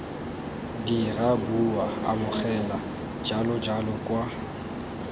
dira bua amogela jalojalo kwa